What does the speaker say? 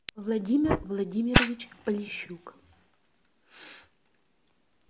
владимир владимирович полищук